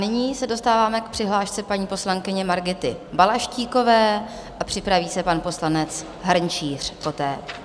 Nyní se dostáváme k přihlášce paní poslankyně Margity Balaštíkové a připraví se pan poslanec Hrnčíř poté.